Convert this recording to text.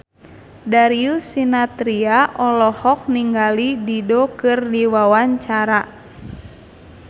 Darius Sinathrya olohok ningali Dido keur diwawancara